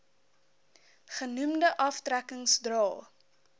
genoemde aftrekkings dra